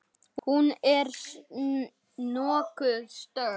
Hún er nokkuð stöðug.